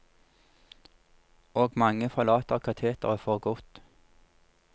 Og mange forlater kateteret for godt.